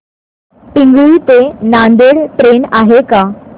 पिंगळी ते नांदेड ट्रेन आहे का